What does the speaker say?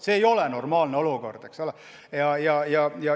See ei ole normaalne olukord, eks ole.